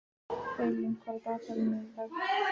Eylín, hvað er á dagatalinu mínu í dag?